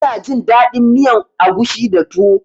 Ina jin daɗin miyan agushi da tuwo